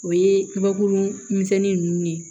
O ye kabakurun misɛnnin ninnu